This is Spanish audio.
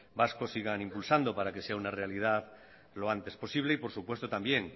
vasco sigan impulsando para que sea una realidad lo antes posible y por supuesto también